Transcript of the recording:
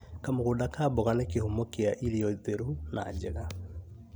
Kamũgũnda ka mboga nĩ kĩhumo gĩa irio theru na njega